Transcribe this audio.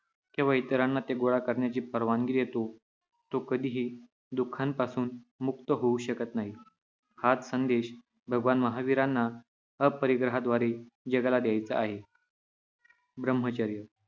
किंवा इतरांना ते गोळा करण्याची परवानगी देतो, तो कधीही दुःखापासून मुक्त होऊ शकत नाही. हाच संदेश भगवान महावीरांना अपरिग्रहाद्वारे जगाला द्यायचा आहे. ब्रह्मचर्य